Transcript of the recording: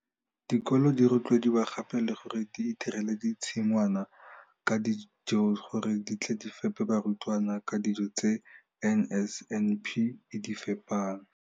Dikolo di rotloediwa gape le gore di itirele ditshi ngwana tsa dijo gore di tle di fepe barutwana ka dijo tse NSNP e di fepang.